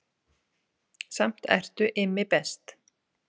Samt ertu Immi best